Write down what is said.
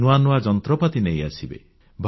ନୂଆ ନୂଆ ଯନ୍ତ୍ରପାତି ନେଇ ଆସିବେ